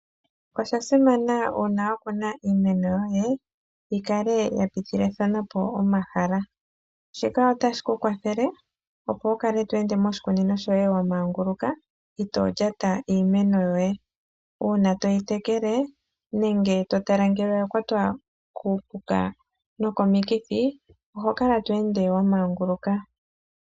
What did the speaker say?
Oshasimana una wa kuna iimeno yoye yi kale ya pitithilane po omahala, shika otashi ku kwathele opo wu kale to ende moshikunino shoye wa manguluka ito lyata iimeno yoye. Una toyi tekele nenge to tala ngele oya kwata kuupuka nenge komikithi oha kala to ende wa manguluka.